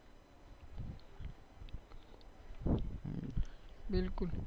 બિલકુલ